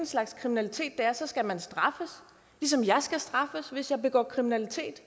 slags kriminalitet det er så skal man straffes ligesom jeg skal straffes hvis jeg begår kriminalitet